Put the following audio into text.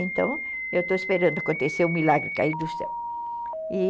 Então, eu estou esperando acontecer o milagre cair do céu.